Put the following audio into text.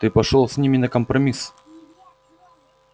ты пошёл с ними на компромисс